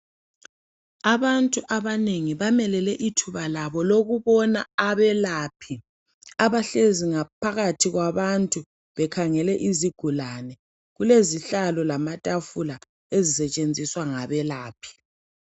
Abantu abanengi bamelele ithuba labo lokubona abelaphi, abahlezi ngaphakathi kwabantu bekhangele izigulane. Kulezihlalo lamatafula ezisetshenziswa ngabelaphi.